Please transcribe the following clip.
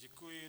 Děkuji.